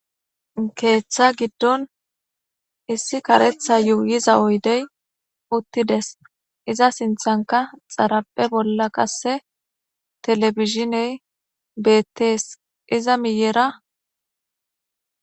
keeththa giddon issi karetha yuuyiza oydey uttides iza sinthanka xarape bolla qasse telefishiney beettees iza miyera